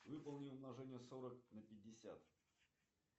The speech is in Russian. выполни умножение сорок на пятьдесят